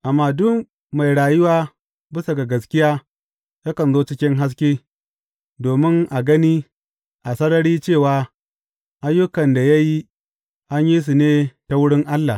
Amma duk mai rayuwa bisa ga gaskiya yakan zo cikin haske, domin a gani a sarari cewa ayyukan da ya yi an yi su ne ta wurin Allah.